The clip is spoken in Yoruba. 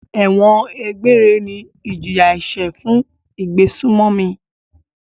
Ẹ̀wọ̀n egbére ni ìjìyà-ẹ̀ṣẹ̀ fún ìgbésùnmòmí.